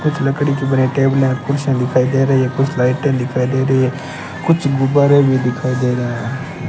कुछ लकड़ी की बनायी टेबले कुर्सिया दिखाई दे रही हैं कुछ लाइटे दिखाई दे रही हैं कुछ गुब्बारे भी दिखाई दे रहे है।